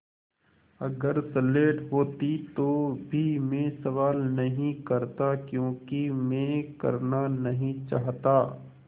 अगर स्लेट होती तो भी मैं सवाल नहीं करता क्योंकि मैं करना नहीं चाहता